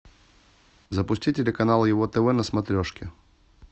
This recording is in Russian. запусти телеканал его тв на смотрешке